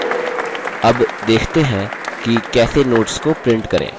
अब देखते हैं कि कैसे notes को print करें